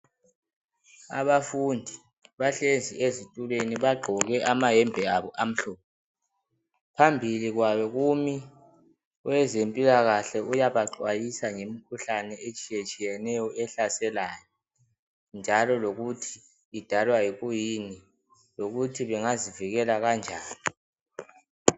Abafundi bahlezi ezitulweni bagqoke amayembe abo amhlophe phambili kwabo kumi owezempilakahle uyabaxwayisa ngemikhuhlane etshiyetshiyeneyo ehlaselayo njalo lokuthi idalwa yikuyini, njalo lokuthi bangazivikela kanjani.